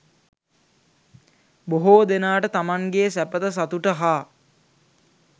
බොහෝ දෙනාට තමන් ගේ සැපත සතුට හා